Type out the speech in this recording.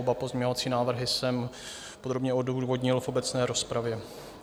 Oba pozměňovací návrhy jsem podrobně odůvodnil v obecné rozpravě.